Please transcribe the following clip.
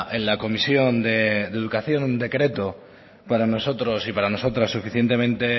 en la comisión de educación un decreto para nosotros y para nosotras suficientemente